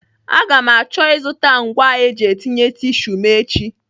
Aga m achọ ịzụta ngwa eji etinye tisu m echi.